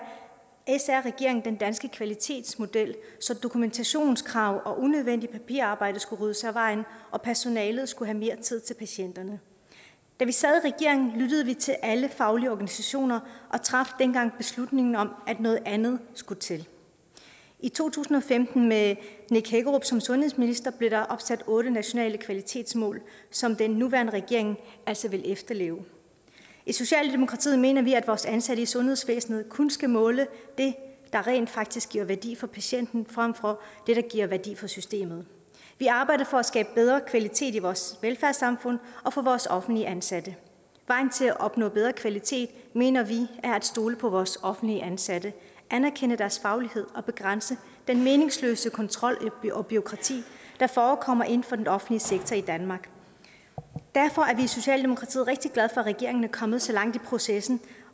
sr regeringen den danske kvalitetsmodel så dokumentationskrav og unødvendigt papirarbejde skulle ryddes af vejen og personalet skulle have mere tid til patienterne da vi sad i regering lyttede vi til alle faglige organisationer og traf dengang beslutningen om at noget andet skulle til i to tusind og femten med nick hækkerup som sundhedsminister blev der opsat otte nationale kvalitetsmål som den nuværende regering altså ville efterleve i socialdemokratiet mener vi at vores ansatte i sundhedsvæsenet kun skal måle det der rent faktisk giver værdi for patienten frem for det der giver værdi for systemet vi arbejder for at skabe bedre kvalitet i vores velfærdssamfund og for vores offentligt ansatte vejen til at opnå bedre kvalitet mener vi er at stole på vores offentligt ansatte anerkende deres faglighed og begrænse den meningsløse kontrol og bureaukrati der forekommer inden for den offentlige sektor i danmark derfor er vi i socialdemokratiet rigtig glade at regeringen er kommet så langt i processen